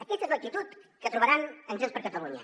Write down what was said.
aquesta és l’actitud que trobaran en junts per catalunya